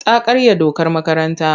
Ta karya dokar makaranta.